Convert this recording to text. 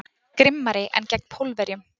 Grimmari en gegn Pólverjum.